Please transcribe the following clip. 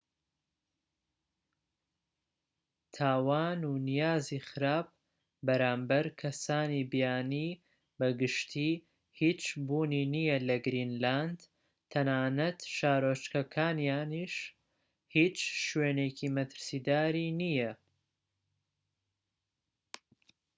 تاوان و نیازی خراپ بەرامبەر کەسانی بیانی بە گشتی هیچ بوونی نیە لە گرینلاند. تەنانەت شارۆچکەکانیش هیچ شوێنێکی مەترسیدار"ی نیە